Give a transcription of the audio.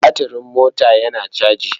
Batiring mota yana caji.